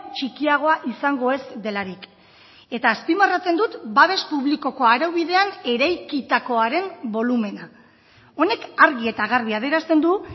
txikiagoa izango ez delarik eta azpimarratzen dut babes publikoko araubidean eraikitakoaren bolumena honek argi eta garbi adierazten du